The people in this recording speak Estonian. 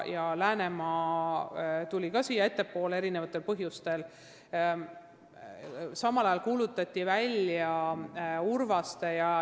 Läänemaa toodi ettepoole erinevatel põhjustel ning Urvaste ja Läänemaa konkursid kuulutati välja samal ajal.